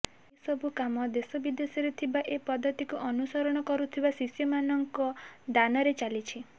ଏସବୁ କାମ ଦେଶ ବିଦେଶରେ ଥିବା ଏ ପଦ୍ଧତିକୁ ଅନୁସରଣ କରୁଥିବା ଶିଷ୍ୟମାନଙ୍କ ଦାନରେ ଚାଲିଛି